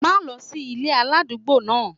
Má lọ sí ilé aládùúgbò náà!